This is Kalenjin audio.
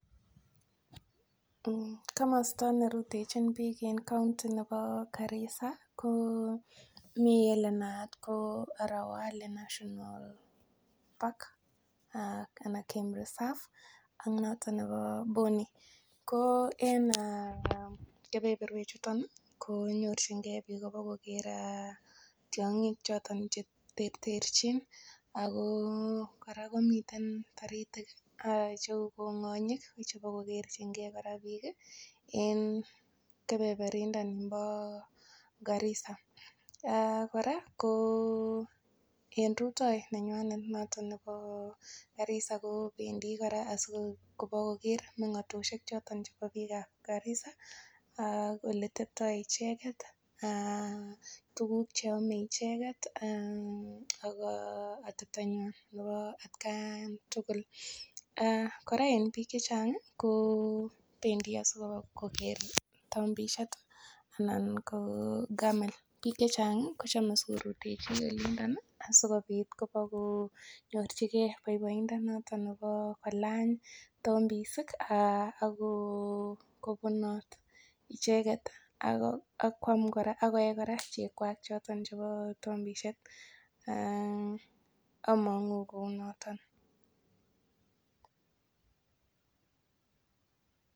Eng komosta nerutenchi biik eng county nebo Garissa ko mii ele naat ko Arowali national park ana game reserve ak noton nebo Boni ko en kebeberwek chuton ko nyorchingei biik pokoker tiong'ik choton che terterchin ako kora komiten toritik cheu kong'onyik chipokokerchingei kora biik en kebeberinda bo Garissa kora eng rutoi neywanet noton nebo Garissa kobendi kora asikobokoker mengotioshek choton chebo biik ap Garissa ak ole teptoi icheket ak tukuk cheamei icheket ako atepto ng'wan nebo atkaan tugul kora eng biik che chang ko bendi asiikopoker tombeshet anan ko Camel biik che chang ko chomei sikorutechi yundo asikobit kopokonyorchigei boiboindo noton nebo kolany tombesik akobunot icheket ako akoe kora cheek kwach choton chebo tombeshet among'u kou noton.